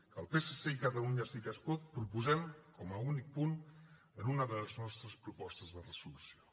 que el psc i catalunya sí que es pot proposem com a únic punt en una de les nostres propostes de resolució